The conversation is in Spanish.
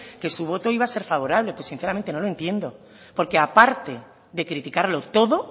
que su voto iba a ser favorables pues sinceramente no le entiendo porque aparte de criticarlo todo